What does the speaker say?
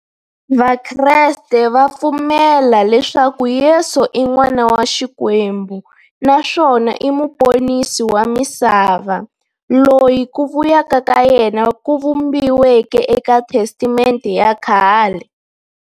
Vakreste va pfumela leswaku Yesu i n'wana wa Xikwembu naswona i muponisi wa misava, loyi ku vuya ka yena ku vhumbiweke eka Testamente ya khale.